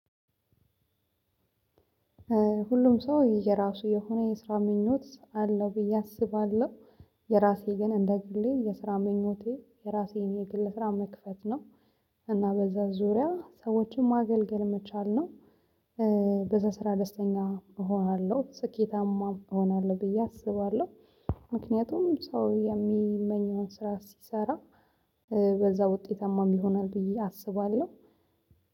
ሁሉም ሰው የየራሱ የሆነ የስራ ምኞት አለው ብዬ አስባለሁ። የራሴ ግን እንደ ግሌ የስራ ምኞቴ የራሴን የግል ስራ መክፈት ነው። እና በዛ ዙሪያ ሰዎችን ማገልገል መቻል ነው። በዛ ስራ ደስተኛ እሆናለሁ ስኬታማ እሆናለሁ ብዬ አስባለሁ። ምክንያቱም ሰው የሚመኘውን ስራ ሲሰራ በዛ ውጤታማም ይሆናል ብዬ አስባለሁ።